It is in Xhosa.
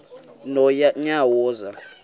nonyawoza